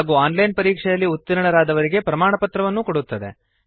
ಹಾಗೂ online ಪರೀಕ್ಷೆಯಲ್ಲಿ ಉತ್ತೀರ್ಣರಾದವರಿಗೆ ಪ್ರಮಾಣಪತ್ರವನ್ನು ಕೊಡುತ್ತದೆ